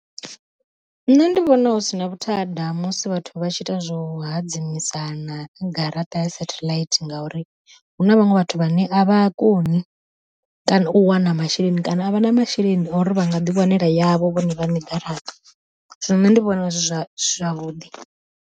Nṋe ndi vhona hu sina vhuthada musi vhathu vha tshi ita zwo hadzimisana garaṱa ya sethaḽaithi, ngauri huna vhaṅwe vhathu vhane a vha koni, kana u wana masheleni kana a vha na masheleni o uri vha nga ḓiwanela yavho vhone vhaṋe garaṱa zwino nṋe ndi vhona zwi zwa zwavhuḓi.